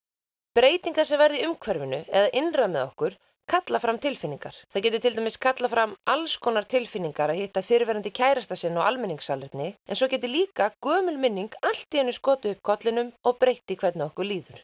breytingar sem verða í umhverfinu eða innra með okkur kalla fram tilfinningar það getur til dæmis kallað fram alls konar tilfinningar að hitta fyrrverandi kærastann sinn á almenningssalerni en svo getur það líka gömul minning allt í einu skotið upp kollinum og breytt því hvernig okkur líður